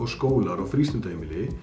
skólar og